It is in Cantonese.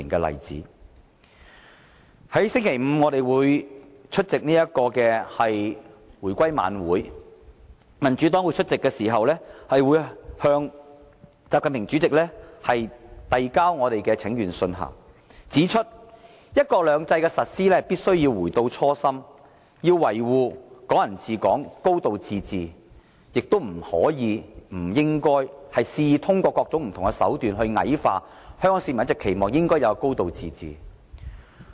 民主黨將於星期五出席回歸晚會，屆時會向國家主席習近平遞交請願信，表明"一國兩制"的實施必須回到初心，要維護"港人治港"、"高度自治"，亦不可及不應肆意通過各種手段矮化香港市民一直期望應有的"高度自治"。